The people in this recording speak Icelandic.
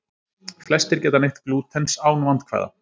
Flestir geta neytt glútens án vandkvæða.